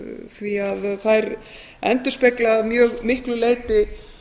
því að þær endurspegla að mjög miklu leyti